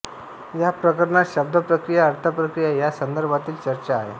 या प्रकरणात शब्दप्रक्रिया अर्थप्रक्रिया या संदर्भातील चर्चा आहे